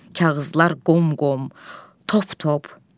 Kağızlar qom-qom, top-top.